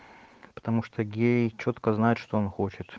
потому что гей чётко знает что он хочет